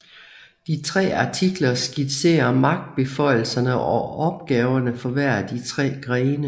De tre artikler skitserer magtbeføjelserne og opgaverne for hver af de tre grene